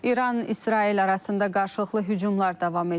İran-İsrail arasında qarşılıqlı hücumlar davam edir.